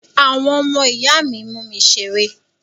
Àwọn ọmọ ìyá mi mú mi ṣeré.